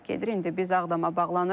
İndi biz Ağdama bağlanırıq.